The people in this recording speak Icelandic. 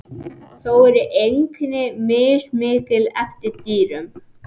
Þó eru einkenni mismikil eftir dýrum.